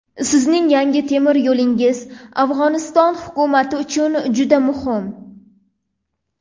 Sizning yangi temir yo‘lingiz Afg‘oniston hukumati uchun juda muhim.